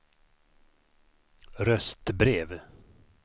röstbrev